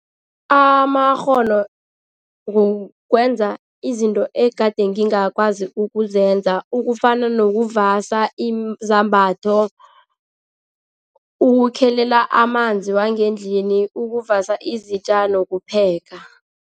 Amakghono kukwenza izinto egade ngingakwazi ukuzenza, ukufana nokuvasa izambatho ukukhelela amanzi wangendlini, ukuvasa izitja nokupheka.